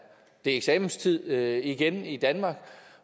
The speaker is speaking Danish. det eksamenstid igen i danmark